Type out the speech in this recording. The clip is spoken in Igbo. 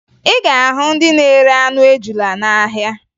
Ị ga-ahụ ndị na-ere anụ ejula n'ahịa